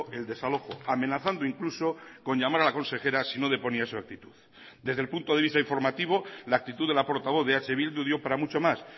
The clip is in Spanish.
el desalojo amenazando incluso con llamar a la consejera si no deponía su actitud desde el punto de vista informativo la actitud de la portavoz de eh bildu dio para mucho más